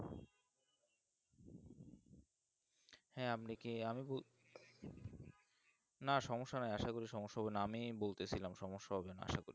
হ্যাঁ আপনি কি আমি না সমস্যা নাই আসা করি সমস্যা হবে না আমি বলতে ছিলাম সমস্যা হবে না আসা করি